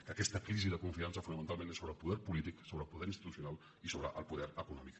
que aquesta crisi de confiança fonamentalment és sobre el poder polític sobre el poder institucional i sobre el poder econòmic